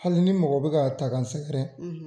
Hali ni mɔgɔ bɛ k'a ta k'a sɛgɛrɛn.